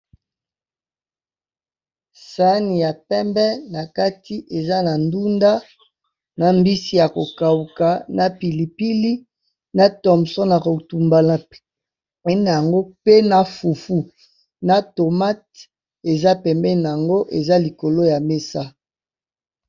Sani ya pembe na kati eza na ndunda, na mbisi, ya ko kauka, na pilipili, na thomson ya kotumba na pe na yango pe na fufu, na tomate, eza pembeni nango eza likolo ya mesa.